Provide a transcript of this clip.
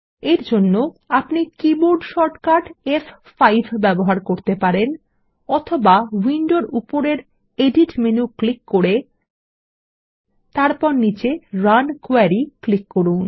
এরজন্য আপনি keyboard shortcut ফ5 ব্যবহার করতে পারেন অথবা উইন্ডোর উপরের এডিট মেনু ক্লিক করে তারপর নীচে রান কোয়েরি ক্লিক করুন